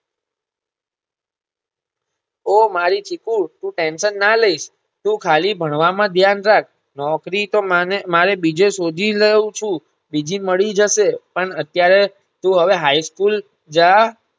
ઓહ મારી ચીકુ તું ટેંશન નાલયશ તું ખાલી ભણવામાં ધ્યાન રાખ નોકરીતો મને મારે બીજે શોધી લવ છુબીજે મળી જશે પણ અત્યારે તું High School જા